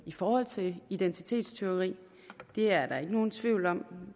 i forhold til identitetstyveri det er der ikke nogen tvivl om